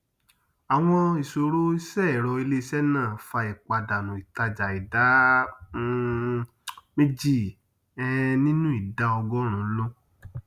àwọn ìsòro iṣẹẹrọ iléiṣé náà fà ìpàdánù ìtàjà ìdá um méjì um nínú ìdá ọgọrùnún lún